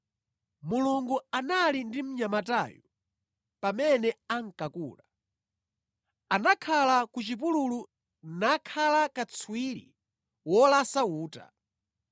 Mulungu anali ndi mnyamatayo pamene ankakula. Anakhala ku chipululu nakhala katswiri wolasa uta.